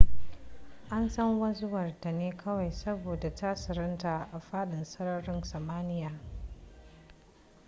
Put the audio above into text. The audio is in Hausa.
an san wanzuwar ta ne kawai saboda tasirinta a fadin sararin samaniya